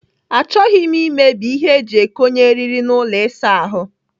Achọghị m imebi ihe eji ekonye eriri n'ụlọ ịsa ahụ.